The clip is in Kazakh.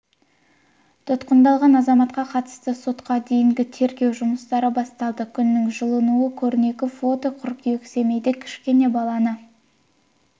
тұтқындалған азаматқа қатысты сотқа дейінгі тергеу жұмыстары басталды күннің жылынуы көрнекі фото қыркүйек семейде кішкене баланы